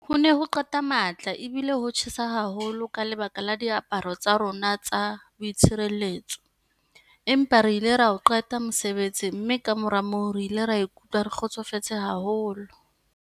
Ho ne ho qeta matla ebile ho tjhesa haholo ka lebaka la diaparo tsa rona tsa boitshireletso, empa re ile ra o qeta mosebetsi mme kamora moo re ile ra ikutlwa re kgotsofetse haholo.